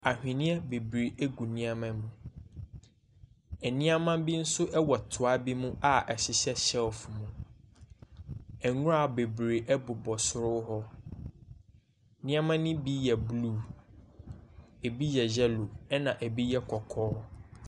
Aweneɛ bebree gu nneɛma mu, nneɛma bi nso wɔ toa bi mu a ɛhyehyɛ shelf mu, nwura bebree bobɔ soro hɔ. nneɛma ne bi yɛ blue, bi yɛ yellow na bi yɛ kɔkɔɔ.